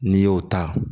N'i y'o ta